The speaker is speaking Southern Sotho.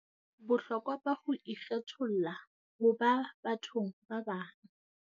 Bohlokwa ba ho ikgetholla ho ba bathong ba bang.